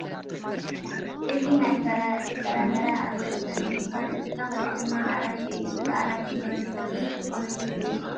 እዚ ናይ ፍራምረ ኣትክልቲ እንትኮን እቲ ተክሊ ድማ ኣራንሺ እዩ ። እዚ ኣራንሺ ንወዲ ሰብ ብዙሕ ጥቅሚ ዝህብ እዩ ።